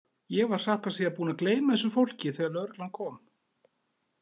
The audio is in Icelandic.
Ég var satt að segja búinn að gleyma þessu fólki þegar lögreglan kom.